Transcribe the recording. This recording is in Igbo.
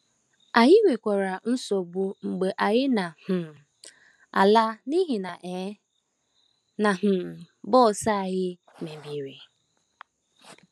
Anyị nwekwara nsogbu mgbe anyị na - um ala n’ihi um na um bọs anyị mebiri.